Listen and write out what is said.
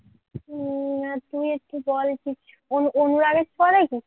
উম না তুই একটু বল যে অনুরাগের ছোঁয়া দেখিস